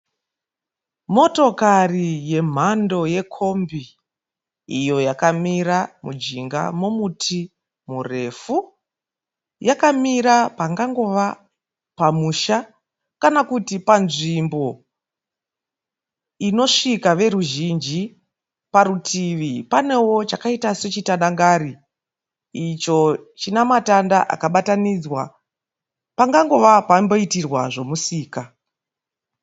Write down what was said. Motokare yemhando yekombi iyo yakamira mujinga momuti murefu. Yakamira pangangova pamusha kana kuti panzvimbo inosvika veruzhinji. Parutivi panewo chakaita chechi tandakari icho chinematanda akabatanidzwa pakangova pakamboitirwa zvemusika.